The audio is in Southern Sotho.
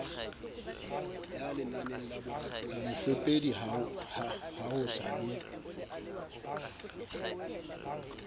mofepedi ha ho sa be